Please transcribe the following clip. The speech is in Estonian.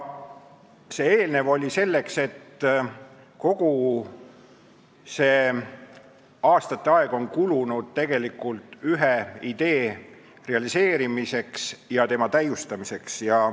Eelnev jutt oli mõeldud selle näitamiseks, et kogu see aeg on kulunud tegelikult ühe idee realiseerimiseks ja täiustamiseks.